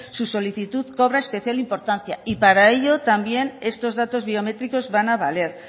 su solicitud cobra especial importancia y para ello también estos datos biométricos van a valer